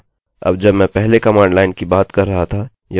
यह यहाँ आप से एक क्वेरी पूछेगा